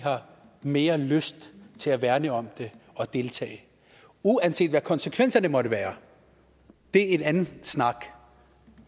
mere lyst til at værne om det og deltage uanset hvad konsekvenserne måtte være det er en anden snak